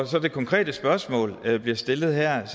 til det konkrete spørgsmål der bliver stillet her